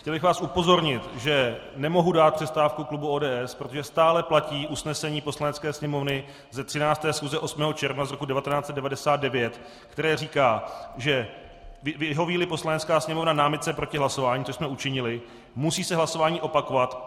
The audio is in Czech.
Chtěl bych vás upozornit, že nemohu dát přestávku klubu ODS, protože stále platí usnesení Poslanecké sněmovny ze 13. schůze 8. června z roku 1999, které říká: "Vyhoví-li Poslanecká sněmovna námitce proti hlasování," což jsme učinili, "musí se hlasování opakovat.